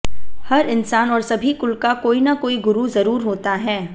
हर इंसान और सभी कुल का कोई न कोई गुरु जरूर होता है